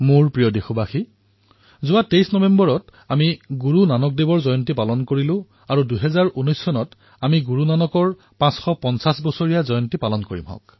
মোৰ মৰমৰ দেশবাসীসকল দুদিন পূৰ্বে ২৩ নৱেম্বৰ তাৰিখে আমি সকলোৱে গুৰু নানক দেৱজীৰ জয়ন্তী পালন কৰিছো আৰু অহা বৰ্ষত অৰ্থাৎ ২০১৯ বৰ্ষত আমি তেওঁৰ ৫৫০তম প্ৰকাশ পৰ্ব পালন কৰিম